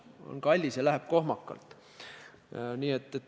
On kallis ja läheb kohmakalt.